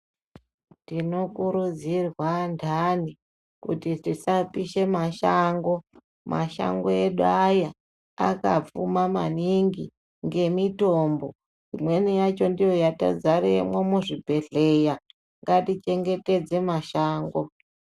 Tinokurudzirwa andani kuti tisapishe mashango mashango edu aya akapfuma maningi ngemitombo imweni yacho ndiyo yatozaremwo muzvibhedhlera ngatichengetedze mashango.